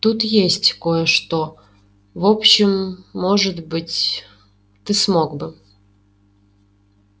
тут есть кое-что в общем может быть ты смог бы